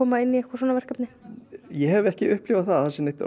ég hef ekki upplifað það að það sé neinn rosalegur vilji